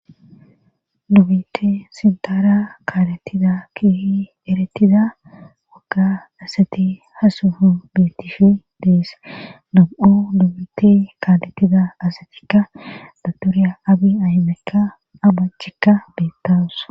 dubite sintaara kaaletida kihi eretida wagga asati hasuhu betishi deese nabu7o dubite kaalettida asatikka datorya abi aymekka abachikka beettawus